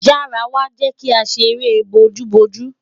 Yara wa, jẹ ki a ṣere booju booju